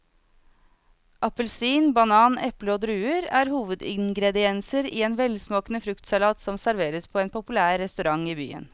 Appelsin, banan, eple og druer er hovedingredienser i en velsmakende fruktsalat som serveres på en populær restaurant i byen.